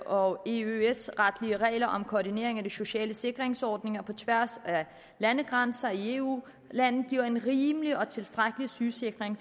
og eøs retlige regler om koordinering af de sociale sikringsordninger på tværs af landegrænser i eu lande giver en rimelig og tilstrækkelig sygesikring